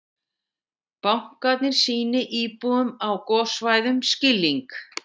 Bankarnir sýni íbúum á gossvæðum skilning